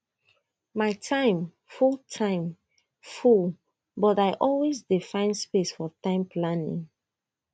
my time full time full but i always dey find space for time planning